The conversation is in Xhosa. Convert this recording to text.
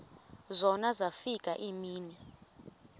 zona zafika iimini